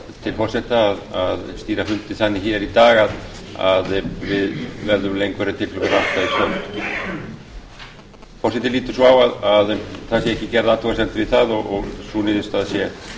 til forseta að stýra fundi þannig í dag að við verðum lengur en til klukkan átta í senn forseti lítur svo á að það sé ekki gerð athugasemd við það og sú niðurstaða sé